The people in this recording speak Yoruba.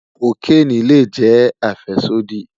Kokeni le jẹ afẹsodi